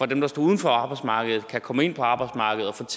dem der står uden for arbejdsmarkedet kan komme ind på arbejdsmarkedet og